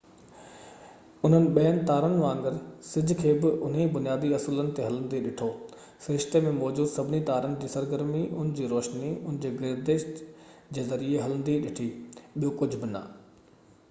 انهن ٻين تارن وانگر سج کي بہ انهيءِ بنيادي اصولن تي هلندي ڏٺو سرشتي ۾ موجود سڀني تارن جي سرگرمي ان جي روشني ان جي گردش جي ذريعي هلندي ڏٺي ٻيو ڪجهہ بہ نہ